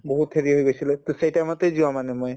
বহুত হেৰি হৈ গৈছিলে to সেই time তে যোৱা মানে মই